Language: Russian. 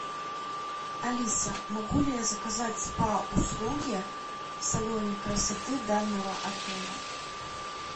алиса могу ли я заказать спа услуги в салоне красоты данного отеля